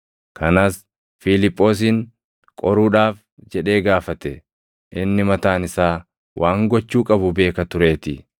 Kanas Fiiliphoosin qoruudhaaf jedhee gaafate; inni mataan isaa waan gochuu qabu beeka tureetii.